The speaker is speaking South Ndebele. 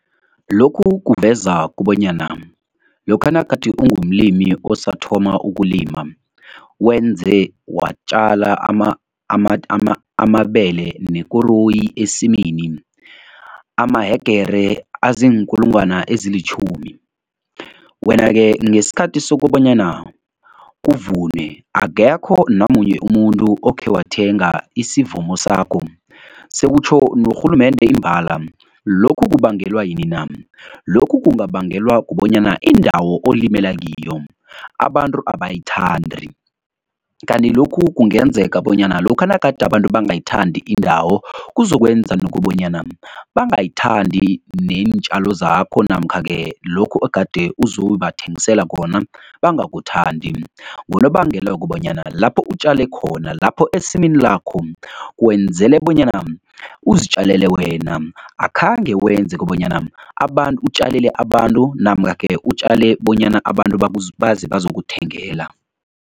Lokhu kuveza kobanyana, lokha nagade ungumlimi osathoma ukulima wenze watjala amabele nekoroyi esimini amahegere aziinkulungwana ezilitjhumi, wena-ke ngesikhathi sokobanyana kuvunwe akekho namunye umuntu okhe wathenga isivuno sakho, sekutjho norhulumende imbala. Lokhu kubangelwa yini na? Lokhu kungabangelwa kubonyana indawo olimela kiyo abantu abayithandi kanti lokhu kungenzeka bonyana lokha nagade abantu bangayithandi indawo kuzokwenza nokobanyana bangayithandi neentjalo zakho namkha-ke lokhu ogade uzobathengisela kona bangakuthandi ngonobangela wokobanyana lapho utjale khona, lapho esimini lakho kwenzele bonyana uzitjalele wena. Akhange wenze kobanyana abantu, utjalele abantu namkha-ke utjale bonyana abantu bazi bazokuthengela.